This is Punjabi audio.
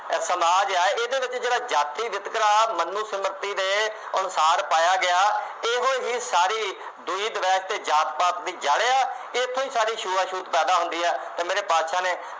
ਸਮਾਹ ਹੈ ਇਹਦੇ ਵਿੱਚ ਜਿਹੜਾਂ ਜਾਤੀ ਵਿਤਕਰਾ ਮਨੋਸਮਿਰਤੀ ਦੇ ਅਨੁਸਾਰ ਪਾਇਆ ਗਿਆ। ਇਹੋ ਹੀ ਸਾਰੇ ਅਤੇ ਜਾਤ ਪਾਤ ਵਿੱਚ ਜਾ ਰਿਹਾ। ਇੱਥੇ ਸਾਰੀ ਛੂਆ ਛੂਤ ਪੈਦਾ ਹੁੰਦੀ ਹੈ ਅਤੇ ਮੇਰੇ ਬਾਦਸ਼ਾਹ ਨੇ